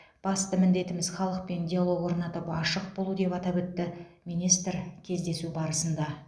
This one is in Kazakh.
басты міндетіміз халықпен диалог орнатып ашық болу деп атап өтті министр кездесу барысында